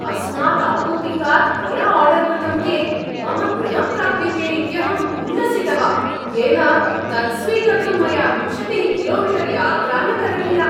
अस्मात् आपूपिकात् मया आर्डर् कृतं केक् मम गृहं प्राप्यते इत्यहम् उल्लसितः, येन तत् स्वीकर्तुं मया विंशतिः किलोमीटर् यात्रा न करणीया।